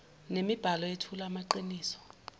nemibhalo eyethula amaqiniso